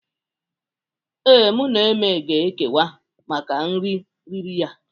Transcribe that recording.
Ee, mụ na Eme ga ekewa maka nri riri ya.